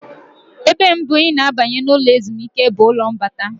Ebe mbụ ị na-abanye na ụlọ ezumike bụ ụlọ mbata.